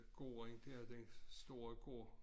Gården dér den store gård